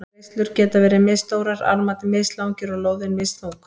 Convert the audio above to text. Reislur geta verið misstórar, armarnir mislangir og lóðin misþung.